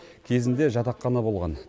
кезінде жатақхана болған